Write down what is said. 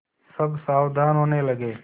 सब सावधान होने लगे